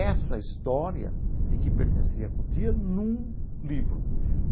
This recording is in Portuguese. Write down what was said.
essa história de que pertencia à Cotia num livro.